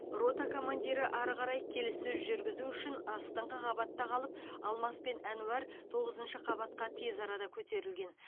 рота командирі ары қарай келіссөз жүргізу үшін астыңғы қабатта қалып алмас пен ануар тоғызыншы қабатқа тез арада көтерілген